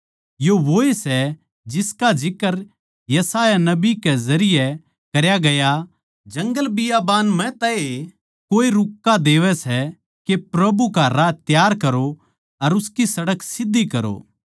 यो वोए सै जिसका जिक्र यशायाह नबी कै जरिये करया गया जंगलबियाबान म्ह तै ए कोए रुक्का देवै सै के प्रभु का राह तैयार करो अर उसकी सड़क सीध्धी करो